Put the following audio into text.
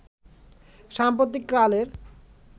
সাম্প্রতিক কালের